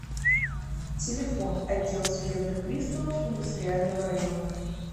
телефон отдел судебных приставов индустриального района